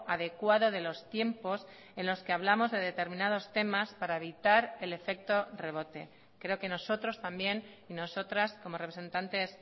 adecuado de los tiempos en los que hablamos de determinados temas para evitar el efecto revote creo que nosotros también y nosotras como representantes